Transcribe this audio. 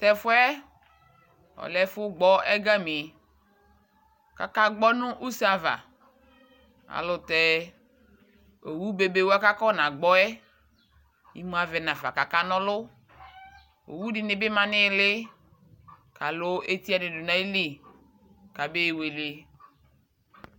Tʊ ɛfʊ yɛ lɛ ɛfʊ yɛ kʊ akagbɔ ɛgami, kʊ akagbɔ nʊ use ava, alʊ tɛ owu bebewa kʊ afɔnagbɔ yɛ, imu avɛ nafa kʊ akanɔlʊ, owu dɩnɩ bɩ ma nʊ ɩɩlɩ, kʊ alʊ etiwanɩ dʊ nʊ ayili, kamewele